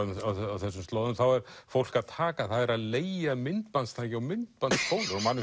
á þessum slóðum þá er fólk að að leigja myndbandstæki og myndbandsspólur og